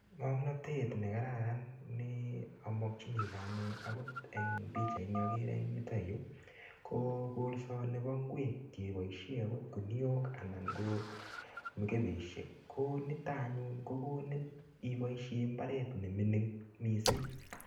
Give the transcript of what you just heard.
Ngomnatet ne kararan ne amokyinige anyun agot eng pichaini agere eng yuto yu, ko kolsonibo ingwek cheboisie agot kuniok anan ngo mukepeisiek ko noto anyun ko konin iboisie imbaret ne mining mising.